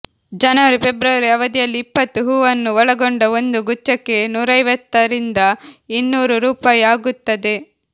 ಜನವರಿ ಫೆಬ್ರವರಿ ಅವಧಿಯಲ್ಲಿ ಇಪ್ಪತ್ತು ಹೂವನ್ನು ಒಳಗೊಂಡ ಒಂದು ಗುಚ್ಛಕ್ಕೆ ನೂರೈವತ್ತರಿಂದ ಇನ್ನೂರು ರುಪಾಯಿ ಆಗುತ್ತದೆ